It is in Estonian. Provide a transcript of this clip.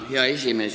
Hea esimees!